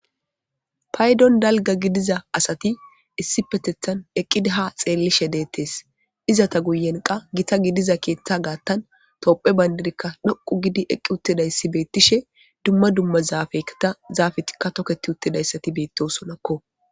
paydon dalga gidiza asati issi petethan eqqida ha xeellishe deettes iza ta guyen qa gita gidiza keeththa gaattan toopphe bayndidikka doqu gidi eqqi uttidayssi beettishe dumma dumma zaafekta zaafetikka toketi uttidayssati beettosonakko